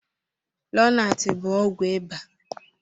Lonat bụ ọgwụ ịbà.